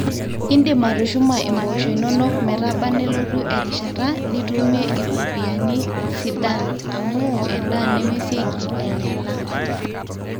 iindim atushuma impoosho inonok metaba nelotu erishata nitumie ifopiyiani sidan amu endaa nemesi9ki ainyala